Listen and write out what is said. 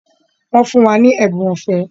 Wọ́n fún wa ní ẹ̀bùn ọ̀fẹ́